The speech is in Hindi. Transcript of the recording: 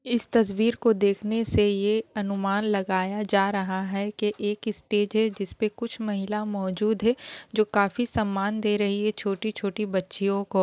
इस तस्वीर को देख के ये अनुमान लगाया जा रहा है की एक स्टेज है जिस पे एक महिला मौजूद है जो काफी सम्मान दे रही है छोटी-छोटी बच्चियों को।